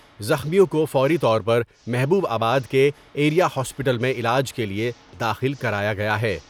زخمیوں کو فوری طور پر محبوب آباد کے ایریا ہاسپٹل میں علاج کے لئے داخل کرایا گیا ہے ۔